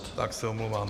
Tak se omlouvám.